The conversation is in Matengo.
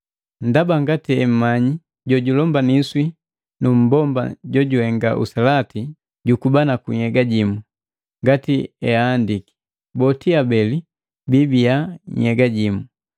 Ndaba ngati emmanyi jojulombaniswa na mmbomba jojuhenga uselati jukubanaku nhyega jimu, ngati eahandiki, “Boti abeli biibiya nhyega jimu.”